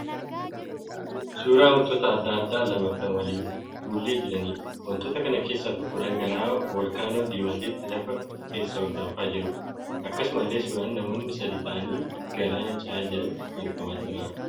Suuraa wantoota adda addaa lama kan waliin fuullee jiraniidha. Wantoota kana keessaa tokko dhangala'aa volkaanoo diimatee lafa keessaa ol danfaa jiruudha. Akkasumallee suuraan namoonni sadii ta'anii galaana ce'aa jiran argamaa jira.